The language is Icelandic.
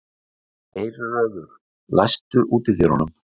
Geirröður, læstu útidyrunum.